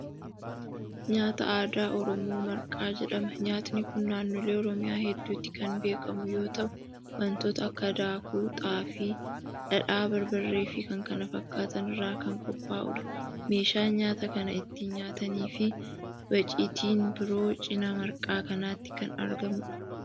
Nyaata aadaa Oromoo Marqaa jedhama. Nyaatni kuni naannolee Oromiyaa heddutti kan beekkamu yoo ta'u wantoota akka daakuu xaafii, dhadhaa, barbaree fii k.k.f irraa kan qophaa'udha. Meeshaan nyaata kan ittiin nyaatanii fii waciitiin biroo cinaa marqaa kanaatti kan argamuudha.